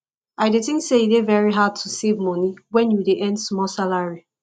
i dey think say e dey very hard to save money when you dey earn small salary